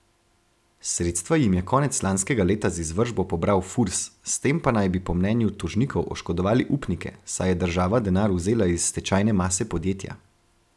Sredstva jim je konec lanskega leta z izvršbo pobral Furs, s tem pa naj bi po mnenju tožnikov oškodovali upnike, saj je država denar vzela iz stečajne mase podjetja.